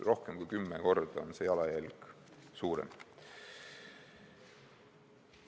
Rohkem kui kümme korda on see jalajälg seega suurem.